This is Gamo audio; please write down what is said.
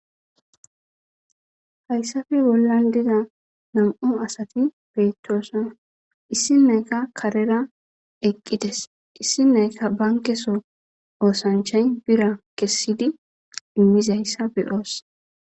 hayssafe bollan diza nam7u asati beyttosan issi nayka karera eqqides issi nayka bankeso oosanchay bira kessidi immizayssa beyoos